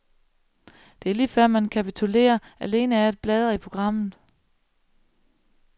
Det er lige før man kapitulerer, alene af at bladre i programmet.